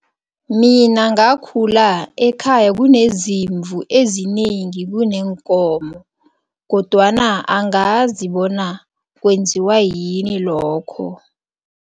Mina ngakhula ekhaya kunezimvu ezinengi kuneenkomo kodwana angazi bona kwenziwa yini lokho.